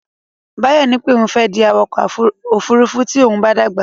Báyọ̀ ní pé òun fẹ́ di awakọ̀ ófurufú tí òun bá dàgbà.